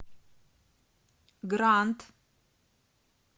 гранд